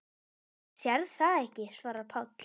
Maður sér það ekki, svarar Páll.